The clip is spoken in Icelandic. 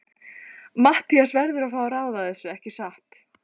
Matthías verður að fá að ráða þessu, ekki satt?